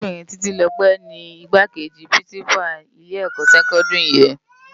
Árábirin Titilope ni Igbákéji Pirinsipá ilé èkò sèkòndiri yèn